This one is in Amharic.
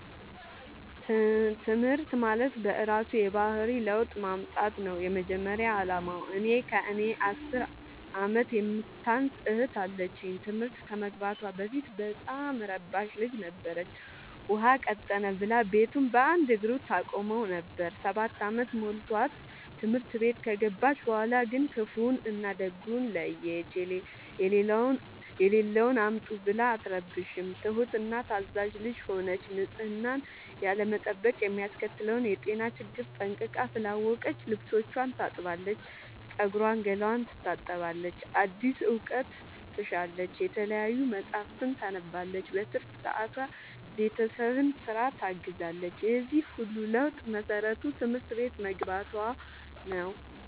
ትምህርት ማለት በእራሱ የባህሪ ለውጥ ማምጣት ነው የመጀመሪያ አላማው። እኔ ከእኔ አስር አመት የምታንስ እህት አለችኝ ትምህርት ከመግባቷ በፊት በጣም እረባሽ ልጅ ነበረች። ውሃ ቀጠነ ብላ ቤቱን በአንድ እግሩ ታቆመው ነበር። ሰባት አመት ሞልቶት ትምህርት ቤት ከገባች በኋላ ግን ክፋውን እና ደጉን ለየች። የሌለውን አምጡ ብላ አትረብሽም ትሁት እና ታዛዣ ልጅ ሆነች ንፅህናን ያለመጠበቅ የሚያስከትለውን የጤና ችግር ጠንቅቃ ስላወቀች ልብስቿን ታጥባለች ፀጉሯን ገላዋን ትታጠባለች አዲስ እውቀት ትሻለች የተለያዩ መፀሀፍትን ታነባለች በትርፍ ሰዓቷ ቤተሰብን ስራ ታግዛለች የዚህ ሁሉ ለውጥ መሰረቱ ትምህርት ቤት መግባቶ ነው።